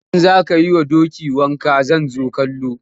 In za ka yi wa doki wanka zan zo kallo.